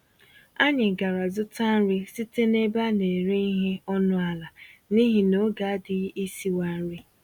Anyị gàrà zụta nri site n'ebe a nere ìhè ọnụ àlà, n'ihi n'oge adịghị isiwa nri